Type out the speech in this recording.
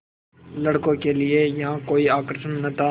लड़कों के लिए यहाँ कोई आकर्षण न था